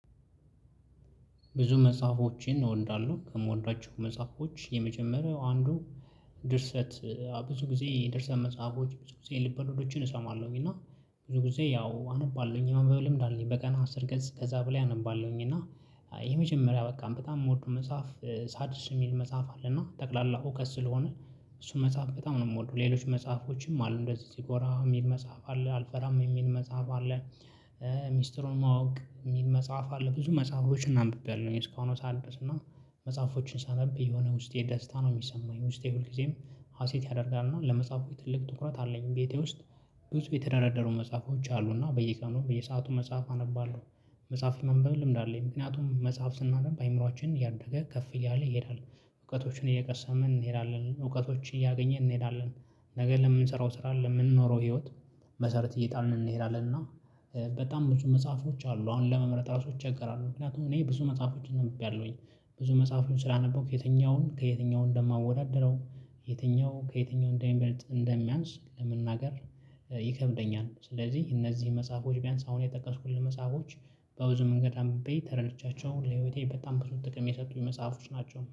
ብዙ መጽሐፎችን እወዳለሁ ከምወዷቸው መጽሐፎች የመጀመሪያው አንዱ ድርሰት ብዙ ጊዜ የድርስ መጽሐፎች ብዙ ጊዜ ልብ ወለዶችን እሰማለሁኝ እና ብዙ ጊዜ ያው አነባለሁኝ የማንበብ ልምድ አለኝ በቀን አስር ገጽ ከዛ በላይ አነባለሁኝ። እና ይሄ መጀመሪያ በቃም በጣም የምወደው መጽሐፍ ሳድርሽ የሚል መጽሐፍ አለና ጠቅላላ እውቀት ስለሆነ እሱን መጽሐፍ በጣም ነው የምወደው። ሌሎች መጽሐፎችም አሉ እንደዚህ እዚህ ጎራ የሚል መጽሐፍ አለ አልፈራም የሚል መጽሐፍ አለ። ሚስጥሩን ማወቅ የሚል መጽሐፍ አለ ብዙ መጽሐፎችን አንብቤያለውኝ። እስካሁኗ ሰዓት ድረስና መጽሐፎችን ሳነብ የሆነ ውስጤ ደስታ ነው የሚሰማኝ ውስጤ ሁልጊዜም ሀሴት ያደርጋል እና ለመጽሐፉ የትልቅ ትኩረት አለኝ። ቤቴ ውስጥ ብዙ የተደረደሩ መጽሐፎች አሉና በየቀኑ በየሰአቱ መጽሐፍ አነባለሁ። መጽሐፉ የማንበብ ልምድ አለኝ ምክንያቱም መጽሐፍ ስናነብ አይምሮአችን እያደገ ከፍ እያለ ይሄዳል። እውቀቶችን እየቀሰምን እንሄዳለን እውቀቶች እያገኘን እንሄዳለን። ነገ ለምንሰራው ስራ ለምንኖረው ህይወት መሰረት እየጣልነ እንሄዳለን። እና በጣም ብዙ መጽሐፎች አሉ አሁን ለመምረጥ ራሱ እቸገራለሁ። ምክንያቱም እኔ ብዙ መጽሐፎች አንብቤያለሁኝ ብዙ መጽሐፉን ስላነበብኩ የትኛውን ከየትኛው እንደማወዳድረው የትኛው ከየትኛው እንደሚበልጥ እንደሚያንስ ለመናገር ይከብደኛል። ስለዚህ እነዚህ መጽሐፎች ቢያንስ አሁን የጠቀስኩልህ መጽሐፎች በብዙ መንገድ አምብቤ ተረድቻቸው ለህይወቴ በጣም ብዙ ጥቅም የሰጡኝ መጽሐፎች ናቸው